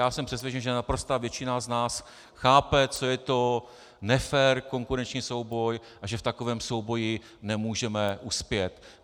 Já jsem přesvědčen, že naprostá většina z nás chápe, co je to nefér konkurenční souboj, a že v takovém souboji nemůžeme uspět.